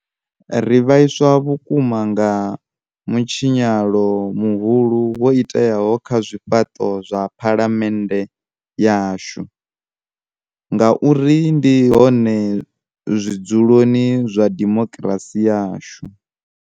Ri vhaiswa vhukuma nga mutshinyalo muhulu wo iteaho kha zwifhaṱo zwa Phalamennde yashu ngauri ndi hone zwid zuloni zwa dimokirasi yashu.